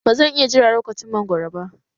Ba zan iya jira lokacin mangwaro ba